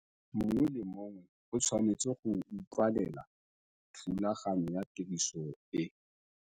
Mongwe le mongwe o tshwanetse go ultwela thulaganyo ya tiriso e.